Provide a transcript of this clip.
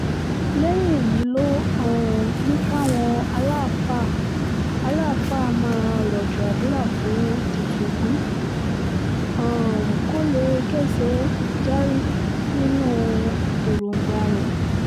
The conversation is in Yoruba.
lẹ́yìn èyí ló um ní káwọn aláàfáà aláàfáà máa rọ̀jò àdúrà fún tìtúngbù um kó lè kẹ́sẹ járí nínú èròǹgbà rẹ̀